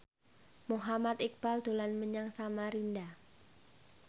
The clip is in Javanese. Muhammad Iqbal dolan menyang Samarinda